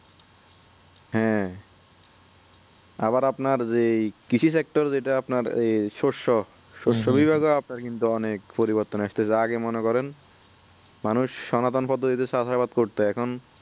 হ্যাঁ আবার আপনার যে এই কৃষি sector যেটা আপনার এই শস্য আপনার কিন্তু অনেক পরিবর্তন আসতেসে আগে মনে করেন মানুষ সনাতন পদ্ধতি তে চাষাবাদ করতো এখন